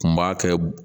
Kun b'a kɛ